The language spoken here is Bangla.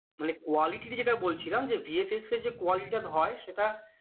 মানে quality ইর যেটা বলছিলাম bfx এর যে quality টা হয় সেটা